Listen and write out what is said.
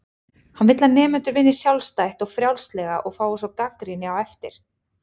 Hann vill að nemendur vinni sjálfstætt og frjálslega og fái svo gagnrýni á eftir.